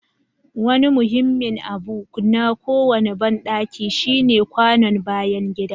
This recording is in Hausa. Wani muhimmin abu na kowane bandaki shine kwanon bayan gida.